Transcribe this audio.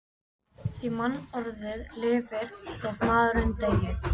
Því mannorðið lifir þótt maðurinn deyi.